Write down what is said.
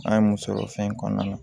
An ye muso fɛn kɔnɔna na